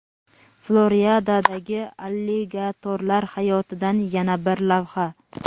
Floridadagi alligatorlar hayotidan yana bir lavha.